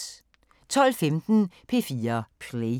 12:15: P4 Play